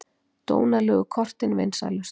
Dónalegu kortin vinsælust